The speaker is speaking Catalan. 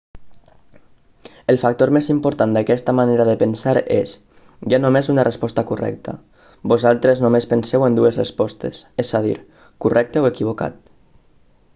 el factor més important d'aquesta manera de pensar és hi ha només una resposta correcta vosaltres només penseu en dues respostes és a dir correcte o equivocat